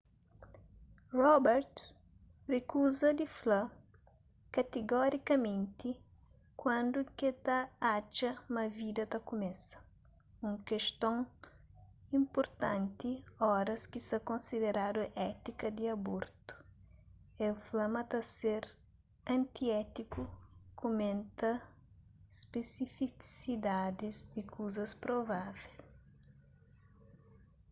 roberts rikuza di fla katigorikamenti kuandu ke ta atxa ma vida ta kumesa un keston inpurtanti oras ki sa konsideradu étika di abortu el fla ma ta ser antiétiku kumenta spesifisidadis di kazus provável